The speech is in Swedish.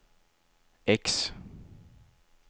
X